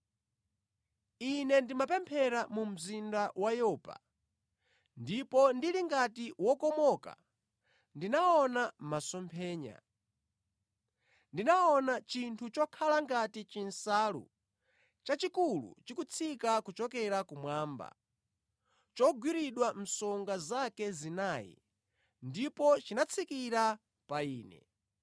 “Ine ndimapemphera mu mzinda wa Yopa ndipo ndili ngati wokomoka ndinaona masomphenya. Ndinaona chinthu chokhala ngati chinsalu chachikulu chikutsika kuchokera kumwamba chogwiridwa msonga zake zinayi, ndipo chinatsikira pa ine.